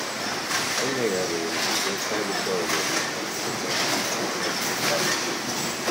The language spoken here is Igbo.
um Emegharịrị m igbe kaadịbọọdụ maka nchekwa kama ịzụrụ nke plastik.